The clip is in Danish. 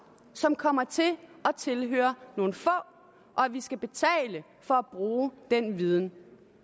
som kommer til at tilhøre nogle få og at vi skal betale for at bruge den viden